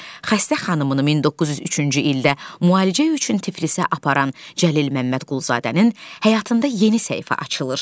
Xəstə xanımını 1903-cü ildə müalicə üçün Tiflisə aparan Cəlil Məmmədquluzadənin həyatında yeni səhifə açılır.